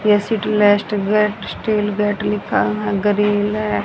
Steel gate लिखा है grill है।